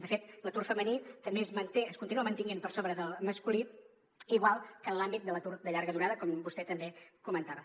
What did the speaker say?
de fet l’atur femení també es manté es continua mantenint per sobre del masculí igual que en l’àmbit de l’atur de llarga durada com vostè també comentava